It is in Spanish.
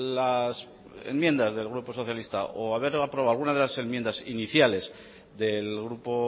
las enmiendas del grupo socialista o haber aprobado algunas de las enmiendas iniciales del grupo